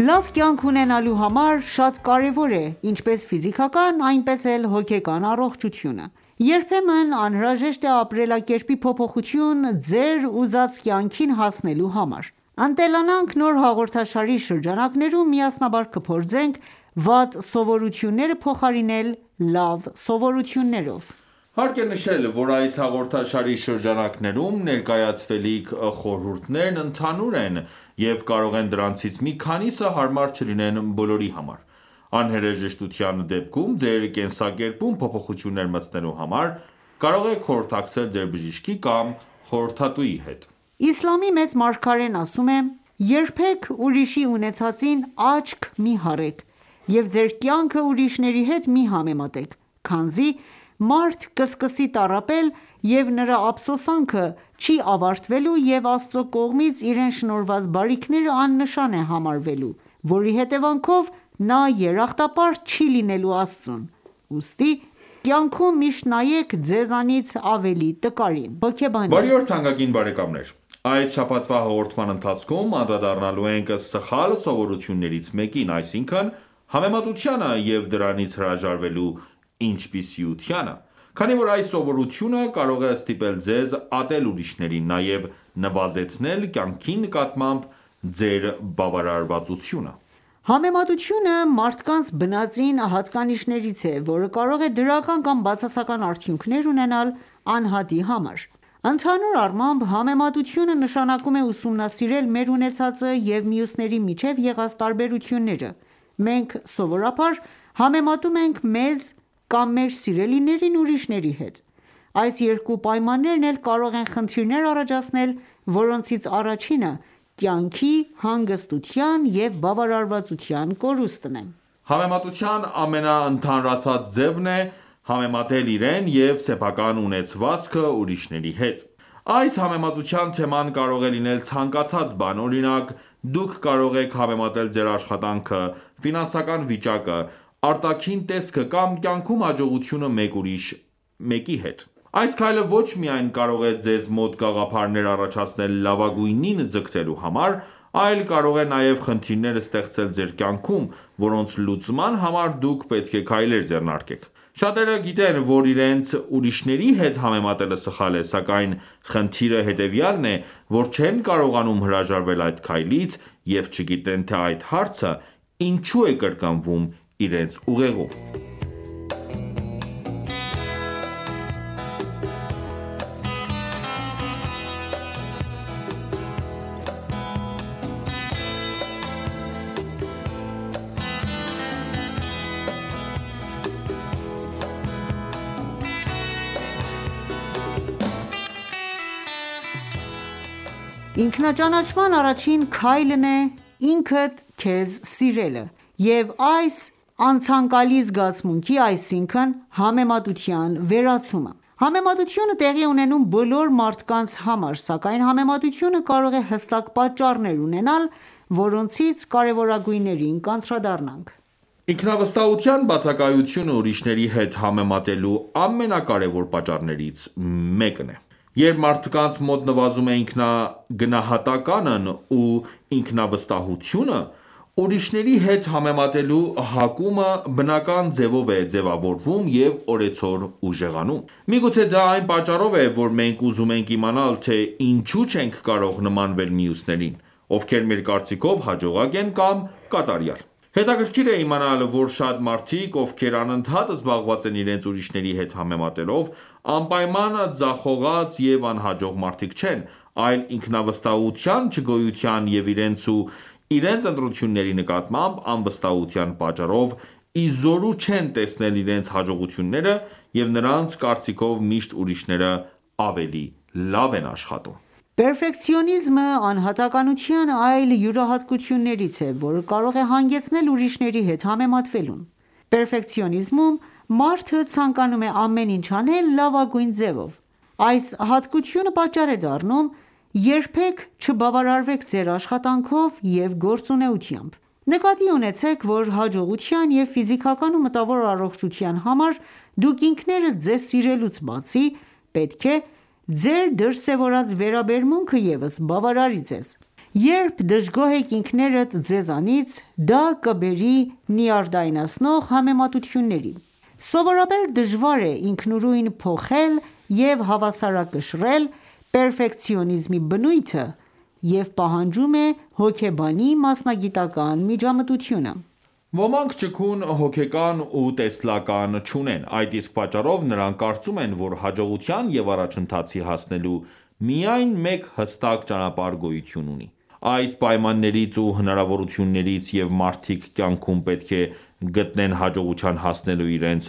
Լավ կյանք ունենալու համար շատ կարևոր է ինչպես ֆիզիկական, այնպես էլ հոգեկան առողջությունը:Երբեմն անհրաժեշտ է ապրելակերպի փոփոխություն՝ ձեր ուզած կյանքին հասնելու համար:«Ընտելանանք» նոր հաղորդաշարի շրջանակներում միասնաբար կփորձենք վատ սովորությունները փոխարինել լավ սովորություններով։ Հարկ է նշել, որ այս հաղորդաշարի շրջանակներում ներկայացվելիք խորհուրդներն ընդհանուր են, և կարող է դրանցից մի քանիսը հարմար չլինեն բոլորի համար: Անհրաժեշտության դեպքում ձեր կենսակերպում փոփոխություններ մտցնելու համար կարող եք խորհրդակցել ձեր բժշկի կամ խորհրդատուի հետ: Իսլամի մեծ Մարգարեն ասում է.«Երբեք ուրիշի ունեցածին աչք մի հառեք(և Ձեր կյանքը ուրիշների հետ մի համեմատեք )քանզի, մարդ կսկսի տառապել և նրա ափսոսանքը չի ավարտվելու և Աստծու կողմից իրեն շնորհված բարիքները աննշան է համարելու ,որի հետևանքով նա երախտապարտ չի լինելու Աստծուն:Ուստի կյանքում միշտ նայեք ձեզանից ավելի տկարին»: Բարի օր թանկագին բարեկամներ: Այս շաբաթվա հաղորդման ընթացքում անդրադառնալու ենք սխալ սովորություններից մեկին, այսինքն համեմատությանը և դրանից հրաժարվելու ինչպիսությանը:Քանի որ այս սովորությունը կարող է ստիպել ձեզ ատել ուրիշներին, նաև նվազեցնել կյանքի նկատմամբ ձեր բավարարվածությունը: Համեմատությունը, մարդկանց բնածին հատկանիշներից է, որը կարող է դրական կամ բացասական արդյունքներ ունենալ անհատի համար:Ընդհանուր առմամբ, համեմատությունը նշանակում է ուսումնասիրել մեր ունեցածը և մյուսների միջև եղած տարբերությունները:Մենք սովորաբար համեմատում ենք մեզ կամ մեր սիրելիներին ուրիշների հետ:Այս երկու պայմաններն էլ կարող են խնդիրներ առաջացնել, որոնցից առաջինը կյանքի հանգստության և բավարարվածության կորուստն է: Համեմատության ամենաընդհանրացած ձևն է՝ համեմատել իրեն և սեփական ունեցվածքը ուրիշների հետ:Այս համեմատության թեման կարող է լինել ցանկացած բան:Օրինակ, դուք կարող եք համեմատել ձեր աշխատանքը, ֆինանսական վիճակը, արտաքին տեսքը կամ կյանքում հաջողությունը մեկ ուրիշի հետ:Այս քայլը ոչ միայն կարող է Ձեզ մոտ գաղափարներ առաջացնել լավագույնին ձգտելու համար, այլ կարող է նաև խնդիրներ ստեղծել ձեր կյանքում, որոնց լուծման համար դուք պետք է քայլեր ձեռնարկեք:Շատերը գիտեն, որ իրենց, ուրիշների հետ համեմատելը սխալ է ,սակայն խնդիրը հետևյալն է ,որ չեն կարողանում հրաժարվել այդ քայլից և չգիտեն թե այդ հարցը ինչու է կրկնվում իրենց ուղեղում: Ինքնաճանաչման առաջին քայլն է՝ինքդ քեզ սիրելը և այս անցանկալի զգացմունքի, այսինքն ՝համեմատության վերացումը :Համեմատությունը տեղի է ունենում բոլոր մարդկանց համար ,սակայն համեմատությունը կարող է հստակ պատճառներ ունենալ ,որոնցից կարևորագույններին կանդրադառնանք: Ինքնավստահության բացակայությունը ուրիշների հետ համեմատելու ամենակարևոր պատճառներից մեկն է: Երբ մարդկանց մոտ նվազում է ինքնագնահատականն ու ինքնավստահությունը ,ուրիշների հետ համեմատելու հակումը բնական ձևով է ձևավորվում և օրեցօր ուժեղանում։ Միգուցե դա այն պատճառով է, որ մենք ուզում ենք իմանալ, թե ինչու չենք կարող նմանվել մյուսներին, ովքեր մեր կարծիքով հաջողակ են կամ կատարյալ:Հետաքրքիր է իմանալ, որ շատ մարդիկ, ովքեր անընդհատ զբաղված են իրենց ուրիշների հետ համեմատելով, անպայման ձախողած և անհաջող մարդիկ չեն, այլ ինքնավստահության չգոյության և իրենց ու իրենց ընտրությունների նկատմամբ անվստահության պատճառով իզօրու չեն տեսնել իրենց հաջողությունները և նրանց կարծիքով ,միշտ ուրիշները ավելի լավ են աշխատում: Պերֆեկցիոնիզմը, անհատականության այլ յուրահատկություններից է ,որը կարող է հանգեցնել ուրիշների հետ համեմատվելուն:Պերֆեկցիոնիզմում մարդը ցանկանում է ամեն ինչ անել լավագույն ձևով:Այս հատկությունը պատճառ է դառնում երբեք չբավարարեք ձեր աշխատանքով և գործունեությամբ:Նկատի ունեցեք, որ հաջողության և ֆիզիկական ու մտավոր առողջության համար դուք ինքներդ ձեզ սիրելուց բացի, պետք է Ձեր դրսևորած վերաբերմունքը ևս բավարարի ձեզ:Երբ դժգոհ եք ինքներդ ձեզանից ,դա կբերի նյարդայնացնող համեմատությունների։ Սովորաբար դժվար է ինքնուրույն փոխել և հավասարակշռել պերֆեկցիոնիզմի բնույթը և պահանջում է հոգեբանի մասնագիտական ​​միջամտությունը: Ոմանք ճկուն հոգեկան ու տեսլական չունեն: Այդ իսկ պատճառով նրանք կարծում են, որ հաջողության և առաջընթացի հասնելու միայն մեկ հստակ ճանապարհ գոյություն ունի:Այս մարդիկ հաշվի չեն առնում, որ յուրաքանչյուրի հաջողությունը կախված է անհատի սեփական պայմաններից ու հնարավորություններից և մարդիկ կյանքում պետք է գտնեն հաջողության հասնելու իրենց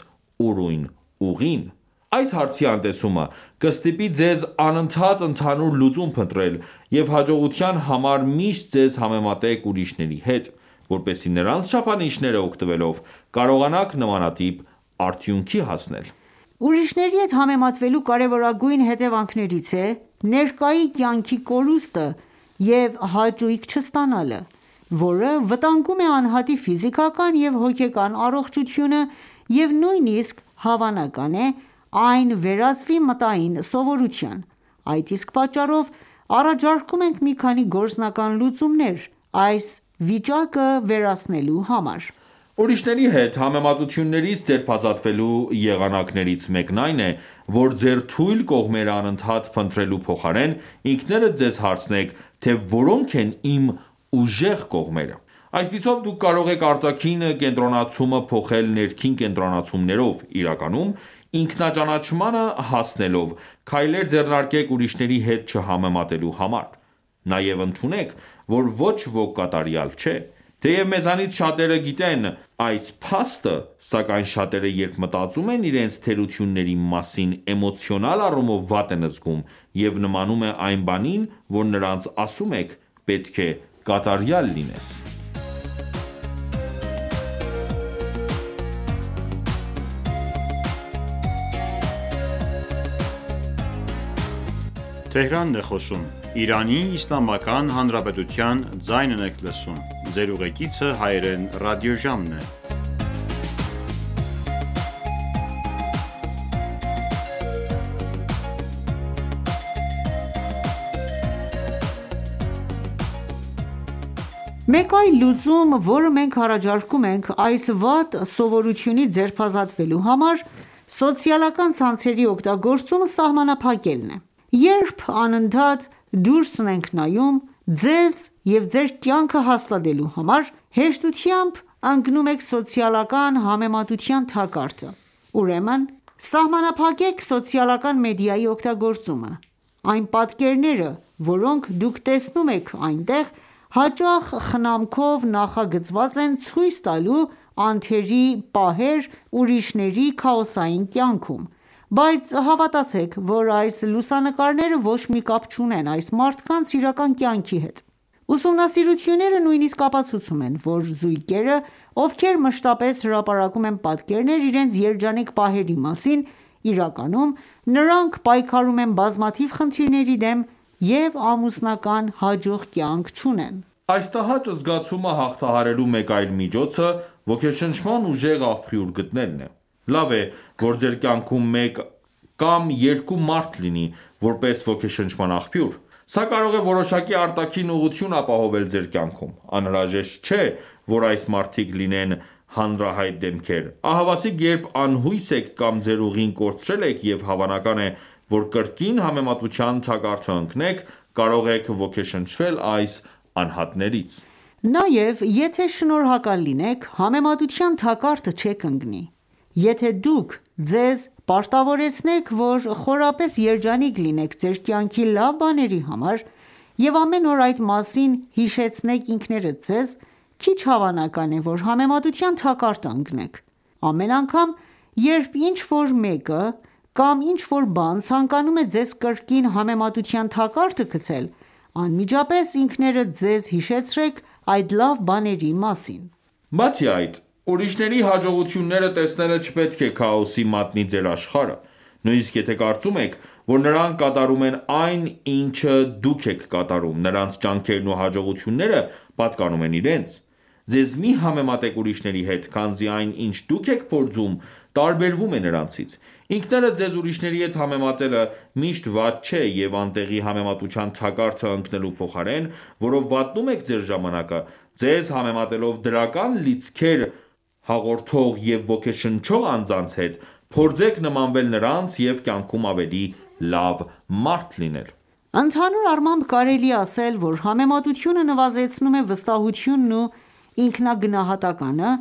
ուրույն ուղին:Այս հարցի անտեսումը կստիպի ձեզ անընդհատ ընդհանուր լուծում փնտրել և հաջողության համար միշտ ձեզ համեմատեք ուրիշների հետ ,որպեսզի նրանց չափանիշները օգտվելով կարողանաք նմանատիպ արդյունքի հասնել: Ուրիշների հետ համեմատվելու կարևորագույն հետևանքներից է ,ներկայի կյանքի կորուստը և հաճույք չստանալը ,որը վտանգում է անհատի ֆիզիկական ու հոգեկան առողջությունը և նույնիսկ հավանական է այն վերածվի մտային սովորության :Այդ իսկ պատճառով առաջարկում ենք մի քանի գործնական լուծումներ այս իրավիճակը վերացնելու համար։ Ուրիշների հետ համեմատություններից ձերբազատվելու եղանակներից մեկն այն է, որ ձեր թույլ կողմերը անընդհատ փնտրելու փոխարեն, ինքներդ ձեզ հարցնեք, թե ո՞րոնք են իմ ուժեղ կողմերը:Այսպիսով, դուք կարող եք արտաքին կենտրոնացումը փոխել ներքին կենտրոնացումով:Իրականում, ինքնաճանաչմանը հասնելով, քայլեր ձեռնարկեք ուրիշների հետ չհամեմատելու համար։ Նաև ընդունեք, որ ոչ ոք կատարյալ չէ:Թեև մեզանից շատերը գիտեն այս փաստը, սակայն շատերը երբ մտածում են իրենց թերությունների մասին էմոցիոնալ առումով վատ են զգում,և նմանում է այն բանին որ նրանց ասում եք պետք է կատարյալ լինես: Մեկ այլ լուծում, որը մենք առաջարկում ենք այս վատ սովորությունից ձերբազատվելու համար, սոցիալական ցանցերի օգտագործումը սահմանափակելն է:Երբ անընդհատ դուրսն եք նայում, ձեզ և ձեր կյանքը հաստատելու համար, հեշտությամբ ընկնում եք սոցիալական համեմատության թակարդը:Ուրեմն, սահմանափակեք սոցիալական մեդիայի օգտագործումը:Այն պատկերները, որոնք դուք տեսնում եք այնտեղ, հաճախ խնամքով նախագծված են՝ ցույց տալու անթերի պահեր ուրիշների քաոսային կյանքում, բայց հավատացեք, որ այս լուսանկարները ոչ մի կապ չունեն այս մարդկանց իրական կյանքի հետ։ Ուսումնասիրությունները նույնիսկ ապացուցում են, որ զույգերը, ովքեր մշտապես հրապարակում են պատկերներ իրենց երջանիկ պահերի մասին, իրականում նրանք պայքարում են բազմաթիվ խնդիրների դեմ եւ ամուսնական հաջող կյանք չունեն: Այս տհաճ զգացումը հաղթահարելու մեկ այլ միջոցը՝ ոգեշնչման ուժեղ աղբյուր գտնելն է:Լավ է, որ ձեր կյանքում մեկ կամ երկու մարդ լինի, որպես ոգեշնչման աղբյուր:Սա կարող է որոշակի արտաքին ուղղություն ապահովել ձեր կյանքում:Անհրաժեշտ չէ ,որ այս մարդիկ լինեն հանրահայտ դեմքեր ,ահավասիկ երբ անհույս եք կամ ձեր ուղին կորցրել եք և հավանական է ,որ կրկին համեմատության թակարդը ընկնեք ,կարող եք ոգեշնչվել այս անհատներից: Նաև, եթե շնորհակալ լինեք, համեմատության թակարդը չեք ընկնի:Եթե ​​դուք ձեզ պարտավորեցնեք, որ խորապես երջանիկ լինեք ձեր կյանքի լավ բաների համար և ամեն օր այդ մասին հիշեցնեք ինքներդ ձեզ, քիչ հավանական է ,որ համեմատության թակարդը ընկնեք: Ամեն անգամ, երբ ինչ-որ մեկը կամ ինչ-որ բան ցանկանում է ձեզ կրկին համեմատության թակարդը գցել, անմիջապես ինքներդ ձեզ հիշեցրեք այդ լավ բաների մասին: Բացի այդ, ուրիշների հաջողությունները տեսնելը չպետք է քաոսի մատնի ձեր աշխարհը:Նույնիսկ եթե կարծում եք, որ նրանք կատարում են այն, ինչը դուք եք կատարում, նրանց ջանքերն ու հաջողությունները պատկանում են իրենց։ Ձեզ մի համեմատեք ուրիշների հետ ,քանզի այն ինչ դուք եք փորձում ,տարբերվում է նրանցից: Ինքներդ ձեզ որիշների հետ համեմատելը ,միշտ վատ չէ և անտեղի համեմատության թակարդը ընկնելու փոխարեն ,որով վատնում եք ձեր ժամանակը, ձեզ համեմատելով դրական լիցքեր հաղորդող և ոգեշնչող անձանց հետ ,փորձեք նմանվել նրանց և կյանքում ավելի լավ մարդ լինել: Ընդհանուր առմամբ կարելի է ասել, որ համեմատությունը նվազեցնում է վստահությունն ու ինքնագնահատականը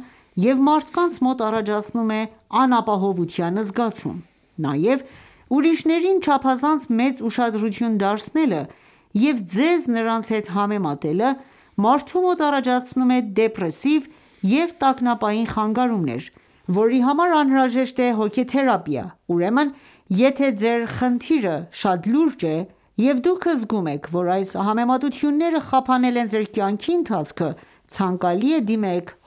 և մարդկանց մոտ առաջացնում է անապահովության զգացում:Նաև ուրիշներին չափազանց մեծ ուշադրություն դարձնելը և ձեզ նրանց հետ համեմատելը մարդու մոտ առաջացնում է դեպրեսիվ և տագնապային խանգարումներ, որի համար անհրաժեշտ է հոգեթերապիա։ Ուրեմն, եթե ձեր խնդիրը շատ լուրջ է, և դուք զգում եք, որ այս համեմատությունները խափանել են ձեր կյանքի ընթացքը, ցանկալի է, դիմեք